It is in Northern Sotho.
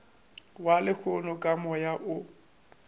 wa lehono ka moya o